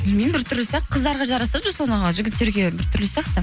білмеймін бір түрлі сияқты қыздарға жарасады жігіттерге бір түрлі сияқты